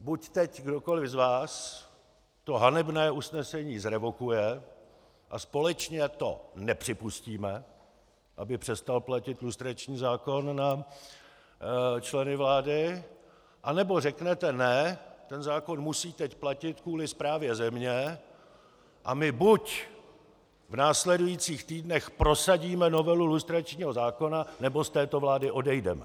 Buď teď kdokoliv z vás to hanebné usnesení zrevokuje a společně to nepřipustíme, aby přestal platit lustrační zákon na členy vlády, anebo řeknete ne, ten zákon musí teď platit kvůli správě země, a my buď v následujících týdnech prosadíme novelu lustračního zákona, nebo z této vlády odejdeme.